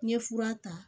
N ye fura ta